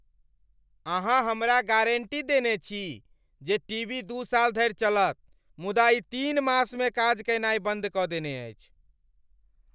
अहाँ हमरा गारण्टी देने छी जे टीवी दू साल धरि चलत मुदा ई तीन मासमे काज कयनाय बन्द कऽ देने अछि!